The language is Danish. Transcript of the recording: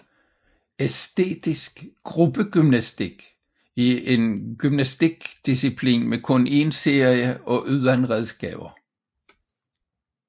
Æstetisk gruppegymnastik er en gymnastik disciplin med kun en serie og uden redskaber